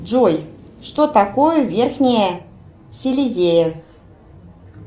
джой что такое верхняя силезия